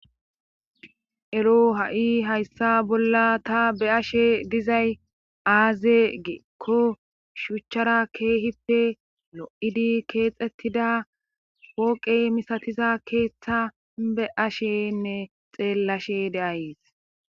ero ha7i hayssa bolla ta be'ashe dizay aaze geekko shuchchara keehippe lo7idi keexettida wooqey misatiza keeththa be ashenne xeellashe deayes